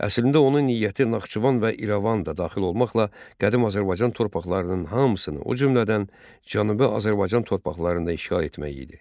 Əslində onun niyyəti Naxçıvan və İrəvan da daxil olmaqla qədim Azərbaycan torpaqlarının hamısını, o cümlədən Cənubi Azərbaycan torpaqlarında işğal etmək idi.